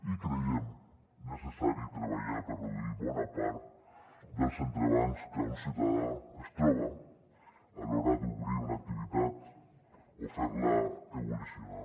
i creiem que és necessari treballar per reduir bona part dels entrebancs que un ciutadà es troba a l’hora d’obrir una activitat o ferla evolucionar